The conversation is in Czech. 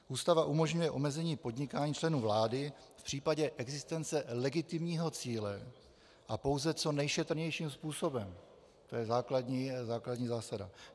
Ústava umožňuje omezení podnikání členů vlády v případě existence legitimního cíle a pouze co nejšetrnějším způsobem, to je základní zásada.